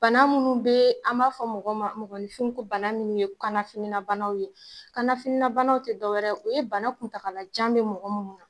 Bana munnu be, an b'a fɔ mɔgɔ ma, mɔgɔnifin ko bana minnu ye kana finina banaw ye , kana finina banaw tɛ dɔwɛrɛ, o ye bana kuntalajan bɛ mɔgɔ munnu na.